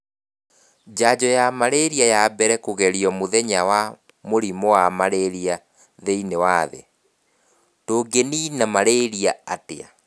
Njanjo wa malaria wa mbere kũgerio mũthenya wa mũrimũ wa mararia thĩ-inĩ wa thĩ: Tũngĩniina malaria atĩa?